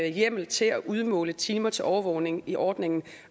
hjemmel til at udmåle timer til overvågning i ordningen